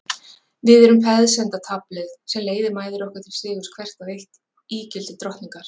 Við erum peðsendataflið sem leiðir mæður okkar til sigurs hvert og eitt ígildi drottningar.